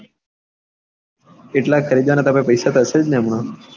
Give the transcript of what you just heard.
એટલા ખરીદવા ના તાર પાસે પૈસા તો હશે ને હમણાં?